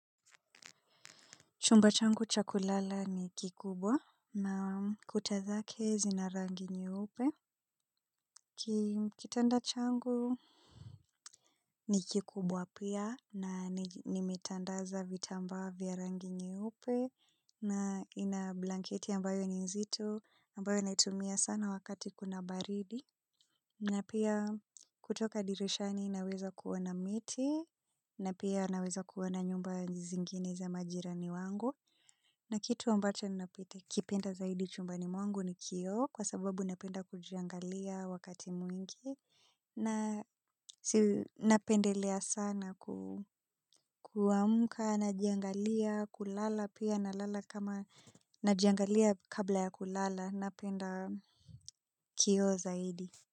Chumba changu cha kulala ni kikubwa na kuta zake zina rangi nyeupe. Kitanda changu ni kikubwa pia na nimetandaza vitambaa vya rangi nyeupe na ina blanketi ambayo ni nzito ambayo naitumia sana wakati kuna baridi. Na pia kutoka dirishani naweza kuona miti na pia naweza kuona nyumba zingine za majirani wangu. Na kitu ambacho nakipenda zaidi chumbani mwangu ni kioo kwa sababu napenda kujiangalia wakati mwingi napendelea sana kuamka najiangalia kulala pia nalala kama na jiangalia kabla ya kulala napenda kioo zaidi.